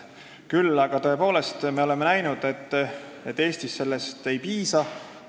Küll aga tõepoolest oleme näinud, et Eestis sellest ei piisa.